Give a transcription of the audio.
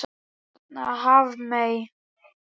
Hérna Hafmey.